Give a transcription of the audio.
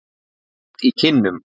Heit í kinnum.